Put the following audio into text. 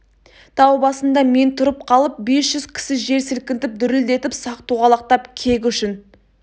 тау басында мен тұрып қалып бес жүз кісі жер сілкінтіп дүрілдетіп сақ-тоғалақтап кек үшін